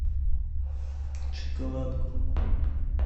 шоколадку